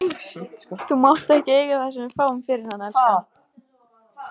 Þú mátt eiga það sem við fáum fyrir hann, elskan.